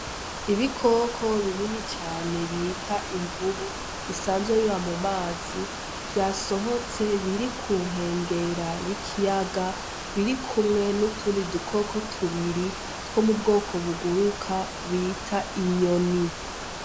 Ibikoko binini cane bita imvubu bisanzwe biba mu mazi vyasohotse biri ku nkengera y'ikiyaga biri kumwe n'utundi dukoko tubiri two mu bwoko buguruka bita inyoni.